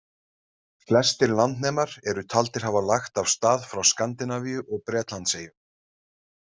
Flestir landnemar eru taldir hafa lagt af stað frá Skandinavíu og Bretlandseyjum.